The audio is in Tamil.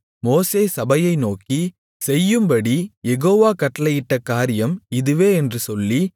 மோசே சபையை நோக்கி செய்யும்படி யெகோவா கட்டளையிட்ட காரியம் இதுவே என்று சொல்லி